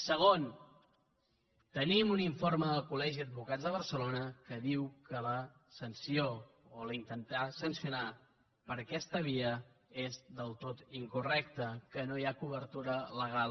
segon tenim un informe del colde barcelona que diu que la sanció o intentar sancionar per aquesta via és del tot incorrecte que no hi ha cobertura legal